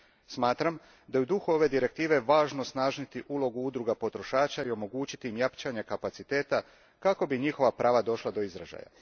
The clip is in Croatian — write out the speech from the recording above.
Smatram da je u duhu ove Direktive važno osnažiti ulogu udruga potrošača i omogućiti im jačanje kapaciteta kako bi njihova prava došla do izražaja.